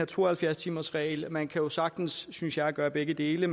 to og halvfjerds timersreglen man kan jo sagtens synes jeg gøre begge dele